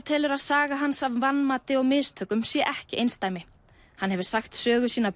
telur að saga hans af vanmati og mistökum sé ekki einsdæmi hann hefur sagt sögu sína